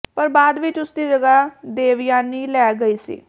ਪਰ ਬਾਅਦ ਵਿੱਚ ਉਸ ਦੀ ਜਗ੍ਹਾ ਦੇਵਯਾਨੀ ਲੈ ਲਈ ਗਈ ਸੀ